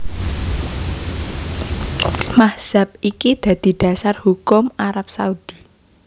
Mazhab iki dadi dasar hukum Arab Saudi